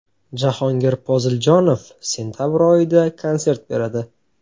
Jahongir Poziljonov sentabr oyida konsert beradi.